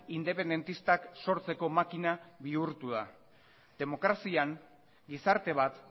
independentistak sortzeko makina bihurtu da demokrazian gizarte bat